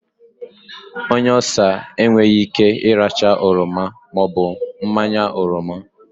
Onye Ulsa n'ata enweyi Ike iracha oroma maobu mmanya oroma